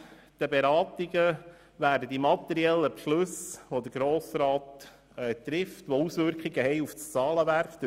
Während den Beratungen werden die materiellen Beschlüsse, die der Grosse Rat trifft, noch Auswirkungen auf das Zahlenwerk haben.